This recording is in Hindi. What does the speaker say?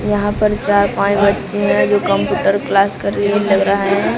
यहां पर चार पांच बच्चे हैं जो कंप्यूटर क्लास कर लिए लग रहा है।